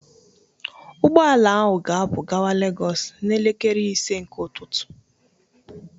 Ụgbọ ala ahụ ga-apu gawa Legos n'elekere ise nke ụtụtụ